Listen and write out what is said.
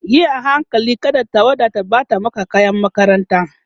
Yi a hankali kada tawada ta ɓata maka kayan makaranta